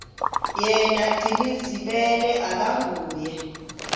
yena gcinizibele akanguye